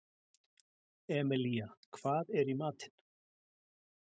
Emelía, hvað er í matinn?